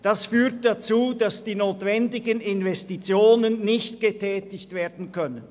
Das führt dazu, dass die notwendigen Investitionen nicht getätigt werden können.